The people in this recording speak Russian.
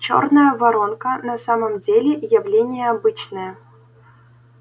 чёрная воронка на самом деле явление обычное